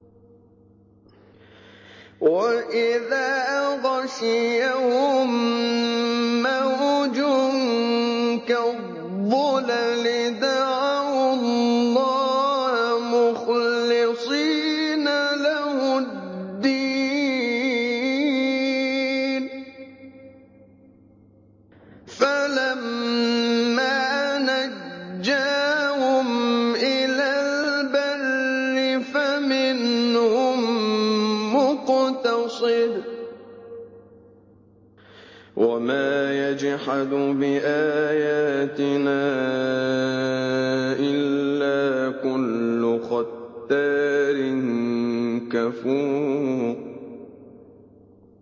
وَإِذَا غَشِيَهُم مَّوْجٌ كَالظُّلَلِ دَعَوُا اللَّهَ مُخْلِصِينَ لَهُ الدِّينَ فَلَمَّا نَجَّاهُمْ إِلَى الْبَرِّ فَمِنْهُم مُّقْتَصِدٌ ۚ وَمَا يَجْحَدُ بِآيَاتِنَا إِلَّا كُلُّ خَتَّارٍ كَفُورٍ